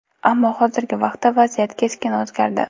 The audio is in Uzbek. Ammo hozirgi vaqtda vaziyat keskin o‘zgardi.